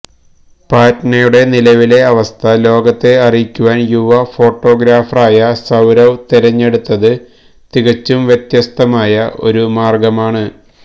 പറ്റ്നയുടെ നിലവിലെ അവസ്ഥ ലോകത്തെ അറിയിക്കാന് യുവ ഫോട്ടോഗ്രാഫറായ സൌരവ് തിരഞ്ഞെടുത്തത് തികച്ചും വ്യത്യസ്തമായ ഒരു മാര്ഗമാണ്